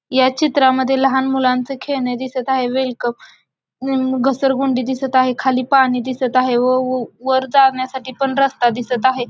या चित्रामद्धे लहान मुलांच खेळण दिसत आहे वेल्कम घसरगुंडी दिसत आहे खाली पाणी दिसत आहे व वर जाण्यासाठी पण रस्ता दिसत आहे.